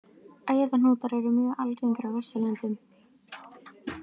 Æðahnútar eru mjög algengir á Vesturlöndum.